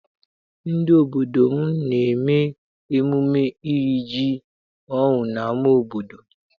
Ndị obodo m na-eme emume iri ji ọhụụ n'ama obodo.